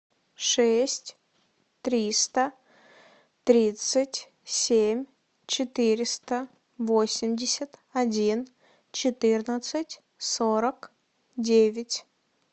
шесть триста тридцать семь четыреста восемьдесят один четырнадцать сорок девять